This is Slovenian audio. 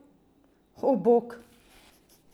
O, bog!